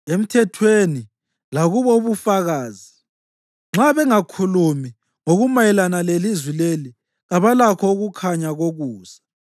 Emthethweni lakubo ubufakazi! Nxa bengakhulumi ngokumayelana lelizwi leli, kabalakho ukukhanya kokusa.